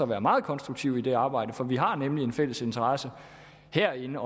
være meget konstruktive i det arbejde for vi har nemlig en fælles interesse herinde